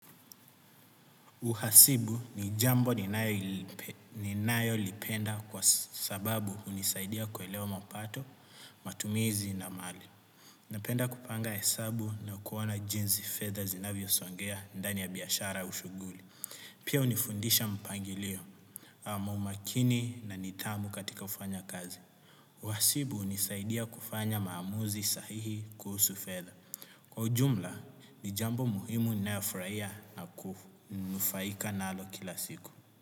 Uhasibu ni jambo ninayolipenda kwa sababu hunisaidia kuelewa mapato, matumizi na mali. Napenda kupanga hesabu na kuona jinsi fedha zinavyosongea ndani ya biashara au shuguli. Pia hunifundisha mpangilio, ama umakini na nidhamu katika ufanya kazi. Uhasibu hunisaidia kufanya maamuzi sahihi kuhusu fedha. Kwa ujumla, ni jambo muhimu ninayofurahia na kunufaika nalo kila siku.